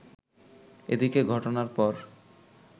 এদিকে ঘটনার পর